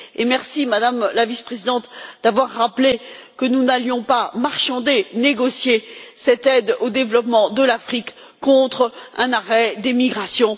Merci, Madame la Vice présidente, d'avoir rappelé que nous n'allions pas marchander, négocier cette aide au développement de l'Afrique contre un arrêt des migrations.